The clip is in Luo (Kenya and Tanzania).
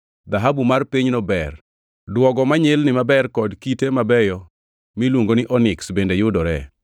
(Dhahabu mar pinyno ber; duogo manyilni maber kod kite mabeyo miluongo ni oniks bende yudoree.)